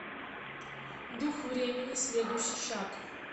дух времени следующий шаг